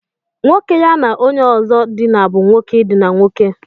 Nwoke ya na onye ozo dina bu nwoke idina nwoke.